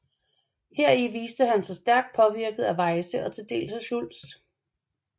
Heri viste han sig stærkt påvirket af Weyse og til dels af Schultz